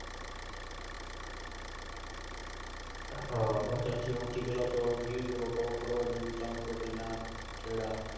ત્યાંથી હૌથી પહલા તો ગીર કઉ પર્વત જેવું ચમકતો હતો થોડા